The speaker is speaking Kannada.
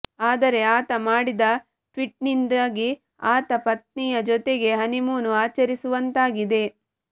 ಆದರೆ ಆತ ಮಾಡಿದ ಟ್ವೀಟ್ನಿಂದಾಗಿ ಆತ ಪತ್ನಿಯ ಜೊತೆಗೇ ಹನಿಮೂನ್ ಆಚರಿಸುವಂತಾಗಿದೆ